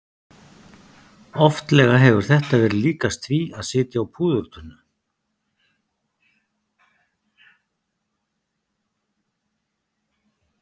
Oftlega hefur þetta verið líkast því að sitja á púðurtunnu.